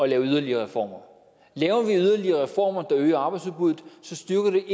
lave yderligere reformer laver vi yderligere reformer der øger arbejdsudbuddet så styrker det